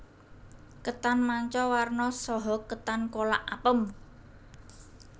Ketan manca warna saha ketan kolak apem